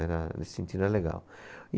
Era nesse sentido era legal